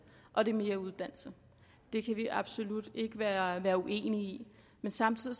og det er mere uddannelse det kan vi absolut ikke være uenige i men samtidig